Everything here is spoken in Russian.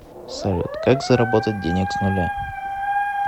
салют как заработать денег с нуля